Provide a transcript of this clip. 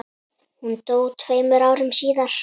Hún dó tveimur árum síðar.